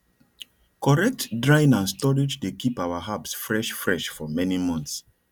correct drying and storage dey keep our herbs fresh fresh for many months